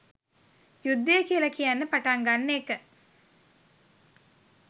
යුද්ධය කියලා කියන්න පටන් ගන්න එක.